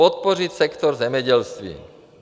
Podpořit sektor zemědělství.